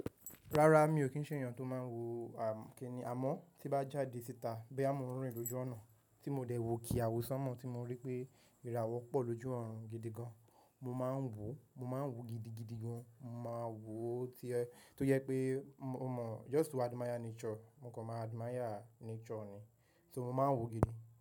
Rárá mi ò kí ń ṣẹ́ ènìyàn tó máa ń wo àm-- kí ni? Àmọ́ tí bá jáde síta bóyá mọ́ ń rìn lójú ọ̀nà tí mo dẹ̀ wo ke àwo sánmọ̀ tí mo rí pé ìràwọ̀ pọ̀ lójú ọ̀run gidi gan. Mo máa ń wò, mo máa ń wò gidigidi gan. Mo máa ń wò tí ẹ́ tó jẹ́ pé mo mọ̀ just to admire nature. Mo kàn máa admire nature ni. So mo maa ń wò gidi.